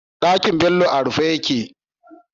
Ɗakin Bello a rufe yake